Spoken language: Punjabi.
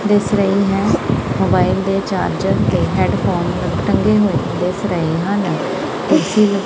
ਦਿੱਸ ਰਹੀ ਹੈ ਮੋਬਾਈਲ ਦੇ ਚਾਰਜਰ ਹੈਡਫੋਨ ਟੰਗੇ ਹੋਏ ਦਿੱਸ ਰਹੇ ਹਨ ਏ_ਸੀ --